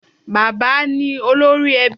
Bà̀bá ni olórí ẹbí